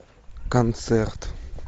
концерт